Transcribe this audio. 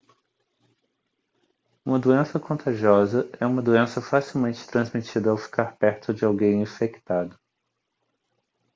uma doença contagiosa é uma doença facilmente transmitida ao ficar perto de alguém infectado